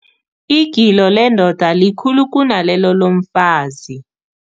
Igilo lendoda likhulu kunalelo lomfazi.